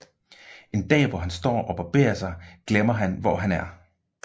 En dag hvor han står og barberer sig glemmer han hvor han er